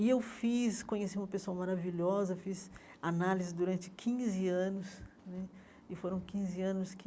E eu fiz, conheci uma pessoa maravilhosa, fiz análise durante quinze anos né, e foram quinze anos que